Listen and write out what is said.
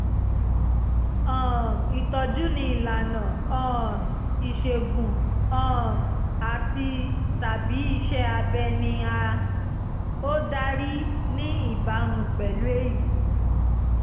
um ìtọ́jú ní ìlànà um ìṣègùn um àti/tàbí iṣẹ́ abẹ ni a ó darí ní ìbámu pẹ̀lú èyí